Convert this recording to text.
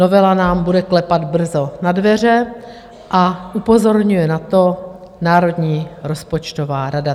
Novela nám bude klepat brzo na dveře a upozorňuje na to Národní rozpočtová rada.